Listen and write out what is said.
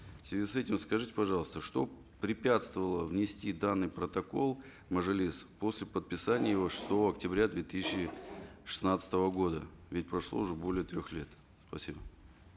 в связи с этим скажите пожалуйста что препятствовало внести данный протокол в мажилис после подписания его шестого октября две тысячи шестнадцатого года ведь прошло уже более трех лет спасибо